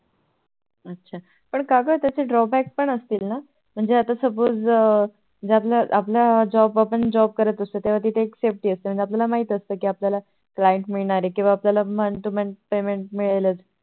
अच्छा पण का ग त्याचे Drawback पण असतील ना म्हणजे Suppose आपलं Job करत असतो त्या वेळी तिथे Safty असते, हणजे पाळायला माहिती असते कि आपल्याला Client मिळणार आहे किंवा Month to month payment मिळेलच